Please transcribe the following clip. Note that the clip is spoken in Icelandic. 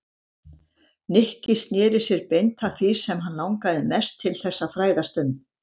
Nikki snéri sér beint að því sem hann langaði mest til þess að fræðast um.